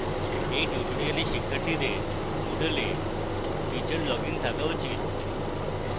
এই tutorial শিক্ষার্থীদের moodle a teacher login থাকা উচিত